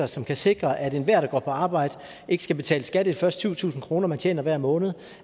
som kan sikre at enhver der går på arbejde ikke skal betale skat af de første syv tusind kr de tjener hver måned